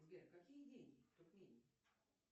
сбер какие деньги в туркмении